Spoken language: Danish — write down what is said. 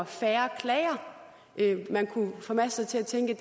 færre klager man kunne formaste sig til at tænke